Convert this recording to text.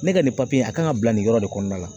Ne ka nin a kan ka bila nin yɔrɔ de kɔnɔna la